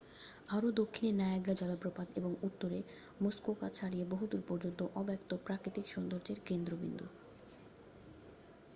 আরও দক্ষিণে নায়াগ্রা জলপ্রপাত এবং উত্তরে মুসকোকা ছাড়িয়ে বহুদূর পর্যন্ত অব্যক্ত প্রাকৃতিক সৌন্দর্যের কেন্দ্রবিন্দু